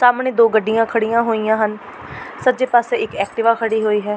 ਸਾਹਮਣੇ ਦੋ ਗੱਡੀਆਂ ਖੜ੍ਹੀਆਂ ਹੋਈਆਂ ਹਨ ਸੱਜੇ ਪਾਸੇ ਇੱਕ ਐਕਟਿਵਾ ਖੜ੍ਹੀ ਹੋਈ ਹੈ।